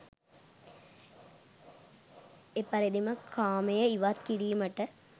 එපරිදිම කාමය ඉවත් කිරීමට